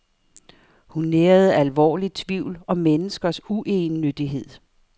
Hun nærede alvorlig tvivl om menneskers uegennyttighed.